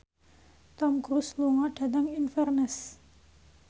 Tom Cruise lunga dhateng Inverness